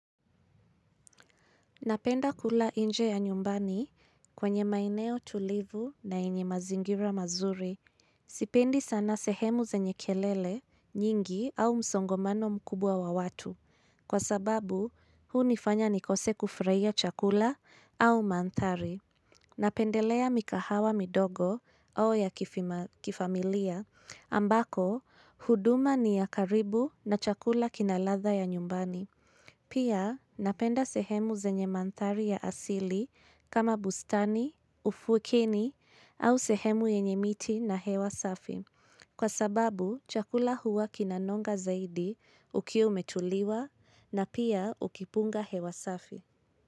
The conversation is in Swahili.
Napenda kula inje ya nyumbani kwenye maeneo tulivu na yenye mazingira mazuri. Sipendi sana sehemu zenye kelele, nyingi au msongomano mkubwa wa watu. Kwa sababu, huunifanya nikose kufraia chakula au mandhari. Napendelea mikahawa midogo au ya kifima kifamilia ambako, huduma ni ya karibu na chakula kinaladha ya nyumbani. Pia napenda sehemu zenye mandhari ya asili kama bustani, ufukini au sehemu yenye miti na hewa safi. Kwa sababu, chakula huwa kinanonga zaidi Ukiwa umetuliwa na pia ukipunga hewa safi.